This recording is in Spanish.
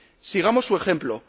Sigamos su ejemplo.